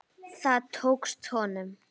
Það tókst honum.